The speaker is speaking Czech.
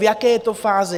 V jaké je to fázi?